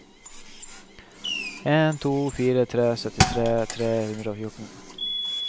en to fire tre syttitre tre hundre og fjorten